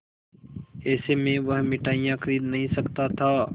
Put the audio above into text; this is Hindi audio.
ऐसे में वह मिठाई खरीद नहीं सकता था